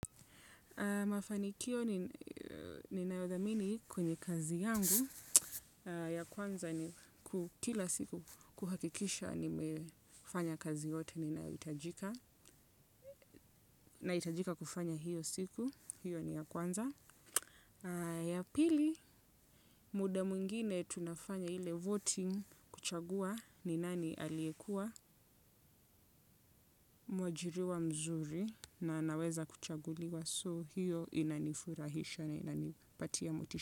Mafanikio ninayodhamini kwenye kazi yangu ya kwanza ni kukila siku kuhakikisha nimefanya kazi yote na itajika kufanya hiyo siku, hiyo ni ya kwanza. Ya pili muda mwingine tunafanya ile voting kuchagua ni nani aliekua mwajiriwa mzuri na naweza kuchaguliwa so hiyo inanifurahisha na inanipatia motisha.